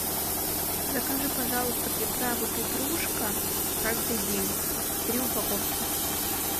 закажи пожалуйста приправу петрушка каждый день три упаковки